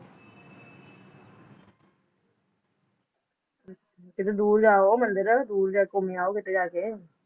ਕਿੱਥੇ ਦੂਰ ਜਾਓ ਮੰਦਿਰ ਦੂਰ ਜਾ ਕੇ ਘੁੱਮੇ ਆਓ ਕਿਤੇ ਜਾ ਕੇ